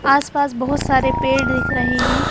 आस-पास बहुत सारे पेड़ दिख रहे हैं।